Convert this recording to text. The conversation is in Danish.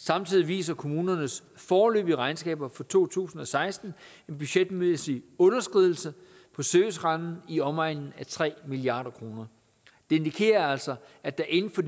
samtidig viser kommunernes foreløbige regnskaber for to tusind og seksten en budgetmæssig underskridelse på servicerammen i omegnen af tre milliard kroner det indikerer altså at der inden for